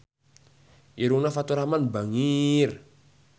Irungna Faturrahman bangir